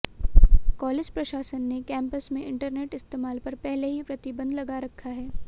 college प्रशासन ने campus में इंटरनेट इस्तेमाल पर पहले ही प्रतिबंध लगा रखा है